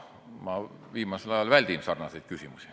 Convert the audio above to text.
Ma viimasel ajal väldin selliseid küsimusi.